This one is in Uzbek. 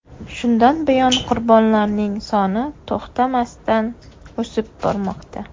Shundan buyon qurbonlarning soni to‘xtamasdan, o‘sib bormoqda.